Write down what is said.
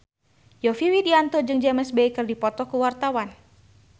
Yovie Widianto jeung James Bay keur dipoto ku wartawan